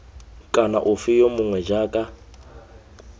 kana ofe yo mongwe jaaka